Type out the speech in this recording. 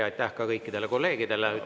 Ja aitäh ka kõikidele kolleegidele!